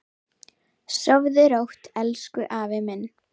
Sofðu rótt elsku afi minn.